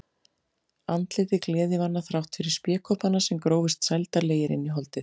Andlitið gleðivana þrátt fyrir spékoppana sem grófust sældarlegir inn í holdið.